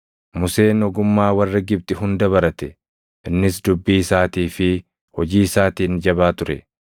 Museen ogummaa warra Gibxi hunda barate; innis dubbii isaatii fi hojii isaatiin jabaa ture.